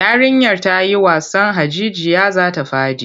Yarinyar ta yi wasan hajijiya za ta faɗi.